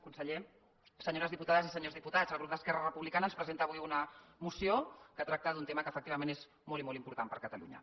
conseller senyores diputades i senyors diputats el grup d’esquerra republicana ens presenta avui una moció que tracta d’un tema que efectivament és molt i molt important per a catalunya